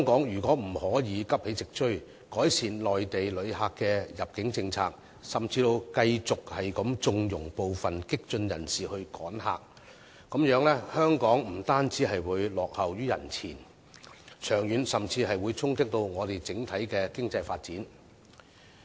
如果香港仍不急起直追，改善內地旅客的入境政策，甚至繼續縱容部分激進人士"趕客"，這樣香港不單會落後於人前，長遠甚至會衝擊我們整體的經濟發展。